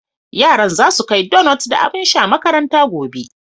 Yaran za su kai donut da abin sha makaranta gobe.